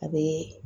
A bɛ